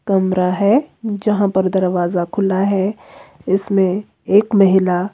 कमरा है जहां पर दरवाजा खुला है इसमें एक महिला--